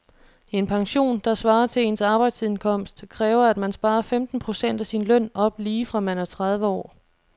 En pension, der svarer til ens arbejdsindkomst, kræver at man sparer femten procent af sin løn op lige fra man er tredive år.